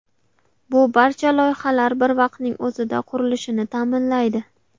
Bu barcha loyihalar bir vaqtning o‘zida qurilishini ta’minlaydi.